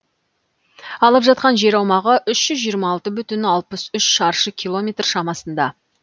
алып жатқан жер аумағы үш жүз жиырма алты бүтін алпыс үш шаршы километр шамасында